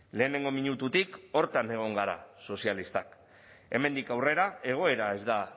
lehenengo minututik horretan egon gara sozialistak hemendik aurrera egoera ez da